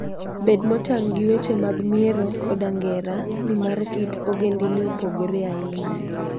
Bed motang' gi weche mag miero koda ngera, nimar kit ogendini opogore ahinya.